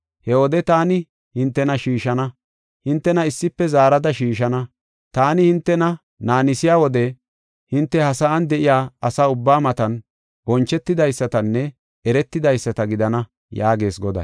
He wode taani hintena shiishana; hintena issife zaarada shiishana. Taani hintena naannisiya wode, hinte ha sa7an de7iya asa ubbaa matan, bonchetidaysatanne eretidaysata gidana” yaagees Goday.